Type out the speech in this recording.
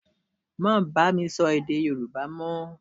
Má bá mi sọ èdè Yorùbá mọ́!